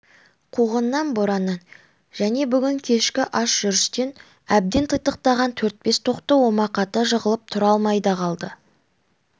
қуғыннан бораннан және бүгін кешкі аш жүрістен әбден титықтаған төрт-бес тоқты омақата жығылып тұра алмай да қалды